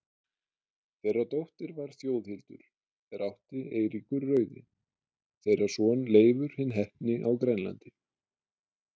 Þeirra dóttir var Þjóðhildur, er átti Eiríkur rauði, þeirra son Leifur hinn heppni á Grænlandi.